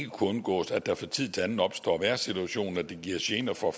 kunne undgås at der fra tid til anden opstår vejrsituationer der giver gener for